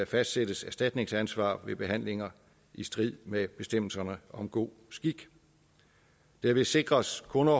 fastsættes erstatningsansvar ved behandlinger i strid med bestemmelserne om god skik derved sikres kunder